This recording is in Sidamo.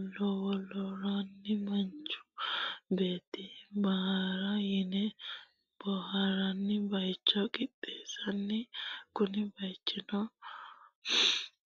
lwloroonni manichu beeti boharara yinne boharani bayicho qixeesinoonni kunni bayichinno mannu babaxinowa haranni doogo dafurio woyi ce'mishisiro ofolle boharara qixeesinooniwati.